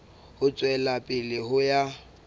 ho tswela pele ho ya